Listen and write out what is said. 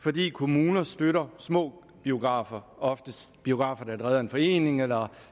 fordi kommuner støtter små biografer oftest biografer der er drevet af en forening eller